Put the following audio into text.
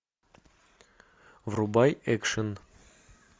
врубай экшн